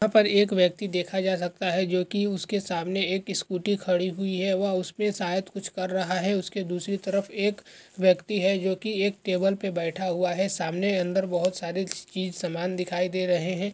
यहाँ पर एक व्यक्ति देखा जा सकता है जो की उसके सामने एक स्कूटी खड़ी हुयी है वह उस पे शायद कुछ कर रहा है उसकी दसरी तरफ एक व्यक्ति है जो की एक टेबल पे बेठा हुवा है सामने अंदर बहुत सारे चीज सामन दिखाइ दे रहे हैं।